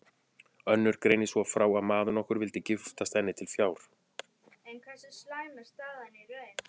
Önnur greinir svo frá að maður nokkur vildi giftast henni til fjár.